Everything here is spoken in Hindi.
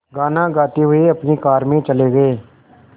गाना गाते हुए अपनी कार में चले गए